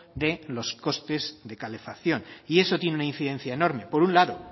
de los costes de calefacción y eso tiene una incidencia enorme por un lado